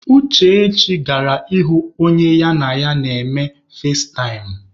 Uchechi gara ịhụ onye ya na ya na-eme fazetaịm.